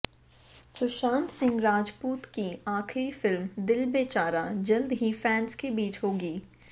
सुशांत सिंह राजपूत की आखिरी फिल्म दिल बेचारा जल्द ही फैंस के बीच होगी